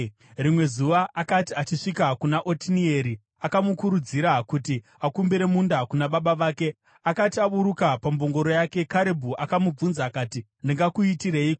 Rimwe zuva akati achisvika kuna Otinieri, akamukurudzira kuti akumbire munda kuna baba vake. Akati aburuka pambongoro yake, Karebhu akamubvunza akati, “Ndingakuitireiko?”